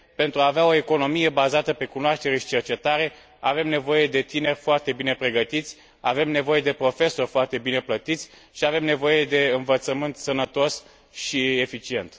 Pentru a avea o economie bazată pe cunoaștere și cercetare, avem nevoie de tineri foarte bine pregătiți, avem nevoie de profesori foarte bine plătiți și avem nevoie de învățământ sănătos și eficient.